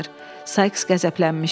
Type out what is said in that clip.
Sayks qəzəblənmişdi.